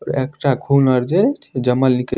एकटा खून अर जे जमल निके --